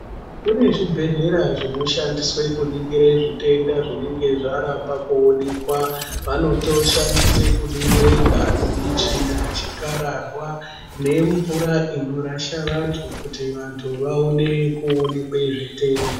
Kune zvibhedhlera zvinoshandiswe kuringire zvitenda zvinenge zvaramba kuonekwa. Vanotoshandise kuningire ngazi, tsvina, chikararwa nemvura inorasha vantu kuti vantu vaone kuonekwe zvitenda.